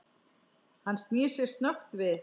Hann snýr sér snöggt við.